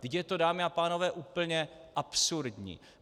Vždyť je to, dámy a pánové, úplně absurdní.